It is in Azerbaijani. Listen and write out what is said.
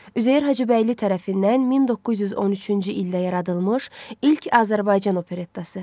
Üzeyir Hacıbəyli tərəfindən 1913-cü ildə yaradılmış ilk Azərbaycan operettası.